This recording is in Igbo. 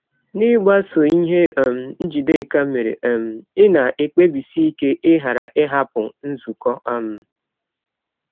N’ịgbasọ ihe um Njideka mere um, ị̀ na - ekpebisi ike ịghara ịhapụ nzụkọ? um